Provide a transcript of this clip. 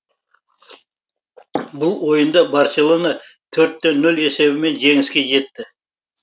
бұл ойында барселона төрт те нөл есебімен жеңіске жетті